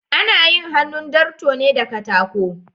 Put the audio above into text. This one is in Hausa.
Ana yin hannun darto ne da katako.